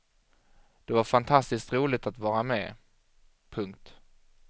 Det var fantastiskt roligt att vara med. punkt